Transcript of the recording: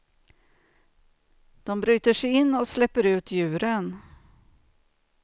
De bryter sig in och släpper ut djuren.